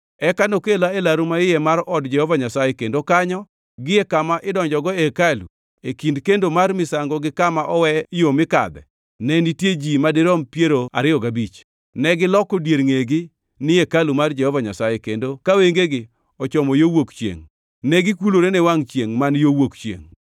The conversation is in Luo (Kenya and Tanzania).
Eka nokela e laru maiye mar od Jehova Nyasaye, kendo kanyo, gie kama idonjogo e hekalu, e kind kendo mar misango gi kama owe yo mikadhe, ne nitie ji madirom piero ariyo gabich. Negiloko dier ngʼegi ni hekalu mar Jehova Nyasaye, kendo ka wengegi ochomo yo wuok chiengʼ, negikulore ne wangʼ chiengʼ man yo wuok chiengʼ.